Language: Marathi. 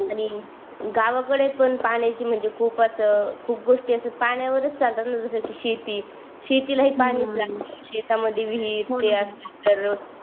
आणि गावाकडे पण पाण्याची म्हणजे खूपच खूप गोष्टी असे पाण्यावरच चालतात न जस शेती शेतीला हि पाणीच लागते शेतामधी विहीर ते असते तर